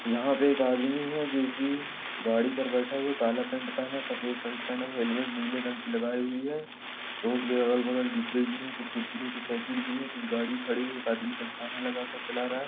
यहाँ पे एक आदमी है जो कि गाड़ी पे बैठा हुआ है काला पेंट पहना हुआ है सफ़ेद शर्ट पहना है हेलमेट नीले रंग की लगाई है रोड़ के अगल बगल डब्बे गिरे है कुछ कुरकुरों के पैकेट गिरे है कुछ गाड़ी खड़ी है एक आदमी दस्ताने लगा के चला रहा है।